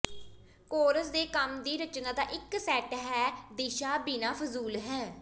course ਦੇ ਕੰਮ ਦੀ ਰਚਨਾ ਦਾ ਇੱਕ ਸੈੱਟ ਹੈ ਦਿਸ਼ਾ ਬਿਨਾ ਫਜ਼ੂਲ ਹੈ